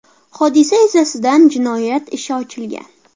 Hodisa yuzasidan jinoyat ishi ochilgan.